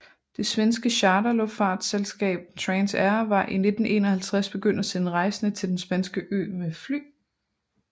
Det svenske charterluftfartsselskab Transair var i 1951 begyndt at sende rejsende til den spanske ø med fly